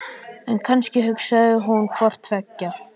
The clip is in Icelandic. En kannski hugsaði hún hvort tveggja.